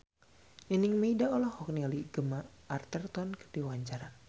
Nining Meida olohok ningali Gemma Arterton keur diwawancara